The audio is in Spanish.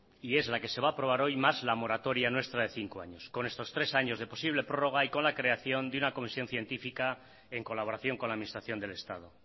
y es la que se va a aprobar hoy más la moratoria nuestra de cinco años con estos tres años de posible prórroga y con la creación de una creación científica en colaboración con la administración del estado